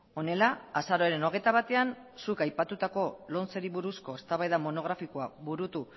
honela azaroaren hogeita batean zuk aipatutako lomceri buruzko eztabaida monografikoa burutu